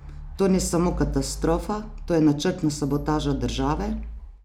To ni samo katastrofa, to je načrtna sabotaža države!